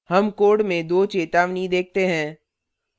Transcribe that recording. हमें code में 2 चेतावनी देखते हैं